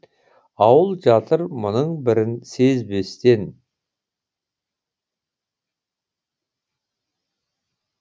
ауыл жатыр мұның бірін сезбестен